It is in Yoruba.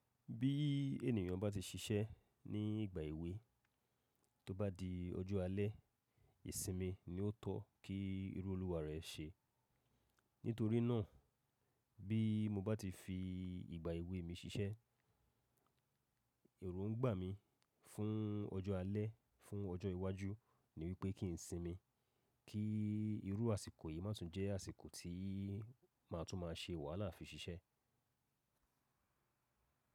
Bí ènìyàn bá ti ṣiṣẹ́ ní ìgbà èwe, tó bá di ọjọ́ alẹ́, ìsinmi ni ó tọ́ kí irú olúwa rẹ̀ ṣe. Nítorí náà, bí mo bá ti fi ìgbà èwe mi ṣiṣẹ́, èrò ń gbà mí fún ọjọ́ alẹ́, fún ọjọ́ iwájú ni wípé kí n sinmi, kí irú àsìkò yìí má tún jẹ́ àsìkò tí màá tún máa ṣe wàhálà fi ṣiṣẹ́.